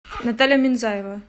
наталья минзаева